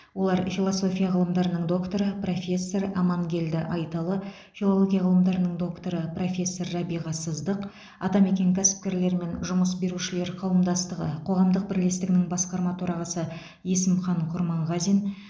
олар философия ғылымдарының докторы профессор амангелді айталы филология ғылымдарының докторы профессор рәбиға сыздық атамекен кәсіпкерлер мен жұмыс берушілер қауымдастығы қоғамдық бірлестігінің басқарма төрағасы есімхан құрманғазин